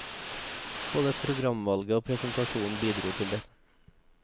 Både programvalget og presentasjonen bidro til det.